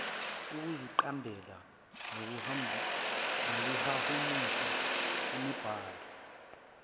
ukuziqambela nokuhumusha imibhalo